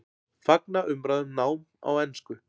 Fagna umræðu um nám á ensku